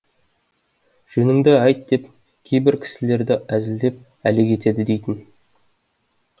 жөнінді айт деп кейбір кісілерді әзілдеп әлек етеді дейтін